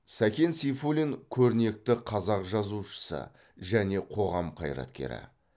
сакен сейфуллин көрнекті қазақ жазушысы және қоғам қайраткері